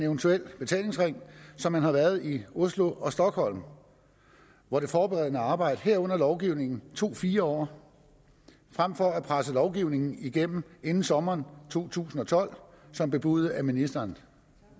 eventuel betalingsring som man har været i oslo og stockholm hvor det forberedende arbejde herunder lovgivning tog fire år frem for at presse lovgivning igennem inden sommeren to tusind og tolv som bebudet af ministeren